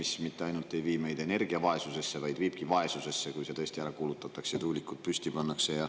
See mitte ainult ei vii meid energiavaesusesse, vaid viib vaesusesse, kui see tõesti ära kulutatakse ja tuulikud püsti pannakse.